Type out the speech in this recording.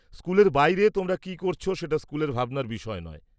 -স্কুলের বাইরে তোমরা কী করছ সেটা স্কুলের ভাবনার বিষয় নয়।